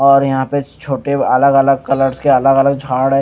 और यहां पे छोटे अलग-अलग कलर्स के अलग-अलग झाड़ है।